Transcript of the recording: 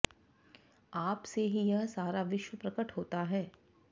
आपसे ही यह सारा विश्व प्रकट होता हे